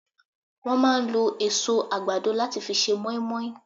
Wọ́n máa ń lo èso àgbàdo láti fi ṣe moinmoin